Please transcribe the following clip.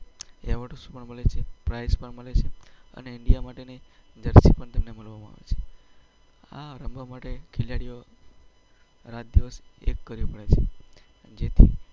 Awards પણ મળે છે, પ્રાઈઝ પણ મળે છે અને ઈન્ડિયા માટેની જર્સી પણ તમને મળે છે. આ રમવા માટે ખેલાડીઓએ રાત-દિવસ એક કરવી પડે છે.